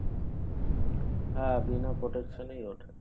হ্যাঁ বিনা protection এই ওঠে